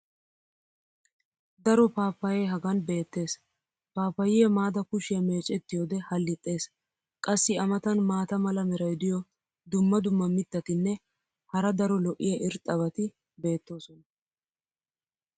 Daro paappaye hagan beetees. paappayiya maada kushiyaa meecettiyoode halixxees. qassi a matan maata mala meray diyo dumma dumma mitatinne hara daro lo'iya irxxabati beetoosona.